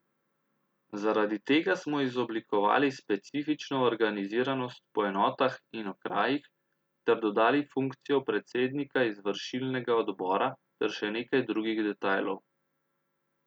Zaradi tega smo izoblikovali specifično organiziranost po enotah in okrajih ter dodali funkcijo predsednika izvršilnega odbora ter še nekaj drugih detajlov.